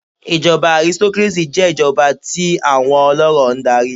Ìjọba aristocracy jé ìjọba íi àwọn olórò n darí